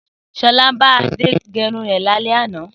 Sọlá bá Adé gẹrun rẹ̀ lálẹ́ àná.